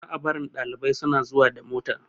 Za a barin ɗalibai suna zuwa da mota